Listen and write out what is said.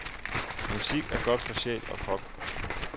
Musik er godt for sjæl og krop.